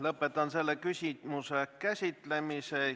Lõpetan selle küsimuse käsitlemise.